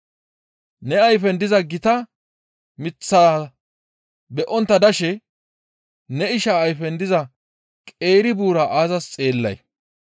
Ne ayfen diza gita miththaa be7ontta dashe ne isha ayfen diza qeeri buura aazas xeellay?